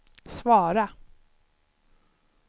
svara